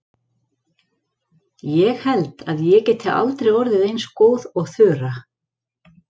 Ég held að ég geti aldrei orðið eins góð og Þura.